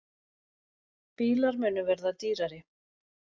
Bílar munu verða dýrari